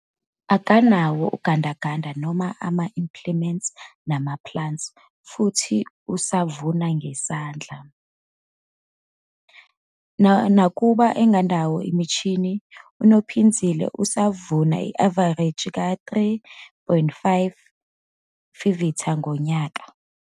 Akanawo ugandaganda noma ama-implement nama-plant futhi uvuna ngesandla. Nakuba engenayo imishini, uNophinzile usavuna i-avareji ka-3,5 t-ha ngonyaka.